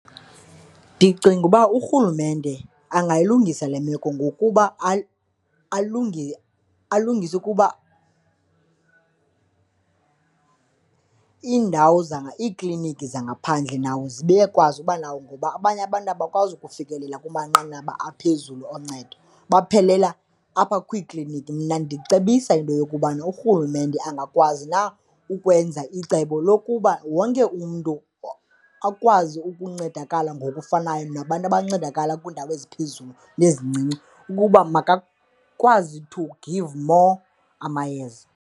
Ndicinga uba urhulumente angayilungisa le meko ngokuba alungise kuba iindawo iikliniki zangaphandle nawo zibe kwazi abanawo ngoba abanye abantu abakwazi ukufikelela kumanqanaba aphezulu oncedo baphelela apha kwiikliniki. Mna ndicebisa into yokubana urhulumente angakwazi na ukwenza icebo lokuba wonke umntu akwazi ukuncedakala ngokufanayo nabantu abancedakala kwiindawo eziphezulu nezincinci ukuba makakwazi to give more amayeza.